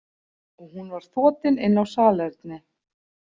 Og hún var þotin inn á salerni.